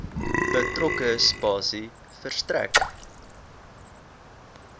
betrokke spasie verstrek